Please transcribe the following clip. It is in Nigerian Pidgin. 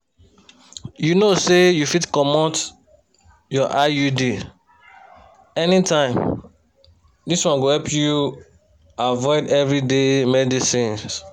you know say you fit comot your iud anytime this one go help you avoid everyday medicines.